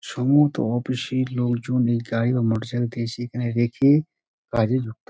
সম্ভবত অফিস -এর লোকজন এই গাড়ি বা মোটর সাইকেলতে এসে এখানে রেখে কাজে ঢুকতো |